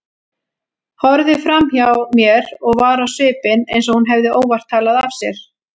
Horfði framhjá mér og var á svipinn eins og hún hefði óvart talað af sér.